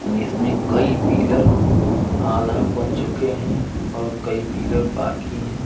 इस में कई पिलर आधा बन चुके हैं और कई पिलर बाकी हैं।